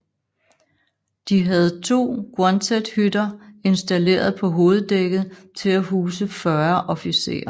De havde to Quonset hytter installeret på hoveddækket til at huse 40 officerer